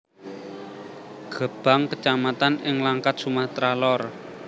Gebang kecamatan ing Langkat Sumatera Lor